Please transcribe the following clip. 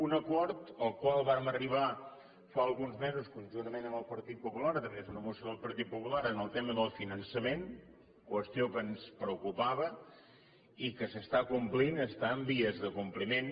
un acord al qual vàrem arribar fa alguns mesos conjuntament amb el partit popular a través d’una moció del partit popular en el tema del finançament qüestió que ens preocupava i que s’està complint està en vies de compliment